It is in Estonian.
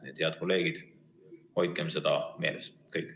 Nii et, head kolleegid, hoidkem seda meeles!